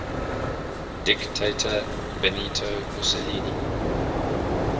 dictator benito mussolini